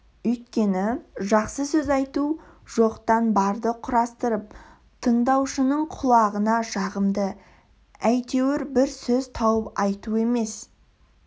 өйткені жақсы сөз айту жоқтан барды құрастырып тыңдаушының құлағына жағымды әйтеуір бір сөз тауып айту емес